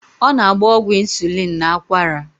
Ọ na-agba ọgwụ ịnsulịn n'akwara.